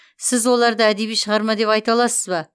сіз оларды әдеби шығарма деп айта аласыз ба